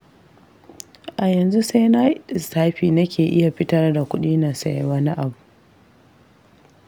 A yanzu sai na yi lissafi nake iya fitar da kudi na sayi wani abu.